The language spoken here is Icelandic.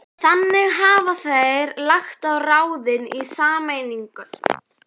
Þannig hafa þeir lagt á ráðin í sameiningu